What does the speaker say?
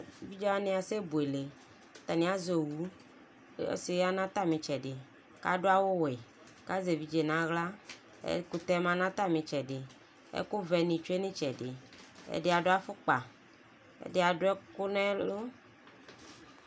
Evidze wani asɛbuele, atani azɛ owu Ɔsi ya nʋ atami ɩtsɛdɩ kʋ adu awuwɛ, kʋ azɛ evidze nʋ aɣla Ɛkʋtɛ ma nʋ atami ɩtsɛdɩ Ɛkʋvɛ ni tsue nʋ ɩtsɛdɩ, ɛdɩ adu afukpa, ɛdi adu ɛkʋ nʋ ɛlʋ